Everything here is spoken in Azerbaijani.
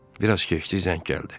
Bir az keçdi, zəng gəldi.